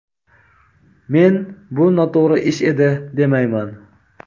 Men bu noto‘g‘ri ish edi demayman.